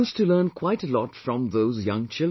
I used to learn quite a lot from those young children